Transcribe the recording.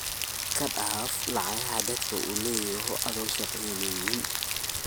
Iskadaaf lacagta dadka leyyaho ado shaqeynin.